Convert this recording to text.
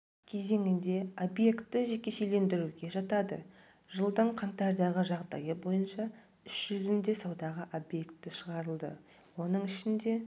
кезеңінде объекті жекешелендіруге жатады жылдың қаңтардағы жағдайы бойынша іс жүзінде саудаға объекті шығарылды оның ішінде